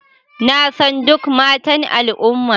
Na san duk matan al'umma